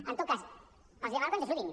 en tot cas els demano que ens ajudin